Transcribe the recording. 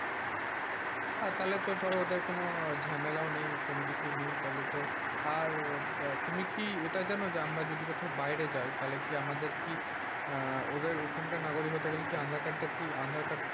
হ্যাঁ তাহলে তো ধরো ওদের কোন ঝামেলা ও নেই। কোনকিছু নেই তাহলে তো, আর তুমি কি এটা যান আমরা যদি কোথাও বাইরে যায় তাহলে কি আমাদের কি? আহ ওদের ওখানকার নাগরিক হতে গেলে কি আধার-কার্ড টা কি আধার-কার্ড,